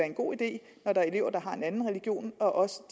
en god idé når der er elever der har en anden religion også